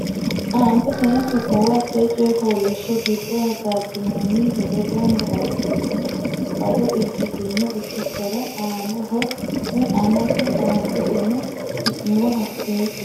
Aanteteno su muwa hatte coy fooliishsho giddo hasaabbinoonni hedo gamba assitine bado ikkitino ikkitora annaho woy amate Aanteteno su muwa hatte coy.